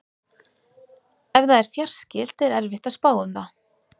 Ef það er fjarskylt er erfitt að spá um það.